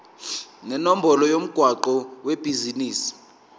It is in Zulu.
nenombolo yomgwaqo webhizinisi